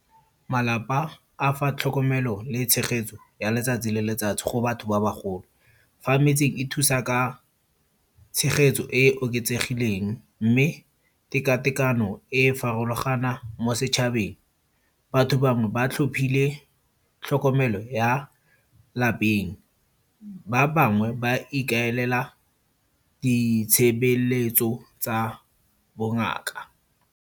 Malapa a fa tlhokomelo le tshegetso ya letsatsi le letsatsi go batho ba bagolo. Fa metseng e thusa ka, tshegetso e e oketsegileng. Mme tekatekano e farologana mo setšhabeng. Batho bangwe ba tlhophile tlhokomelo ya lapeng. Ba bangwe ba ikaelela ditshebeletso tsa bongaka.